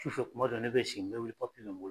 Su fɛ kuma dɔ ne bɛ sigi, n bɛ wili papiye bɛ n bolo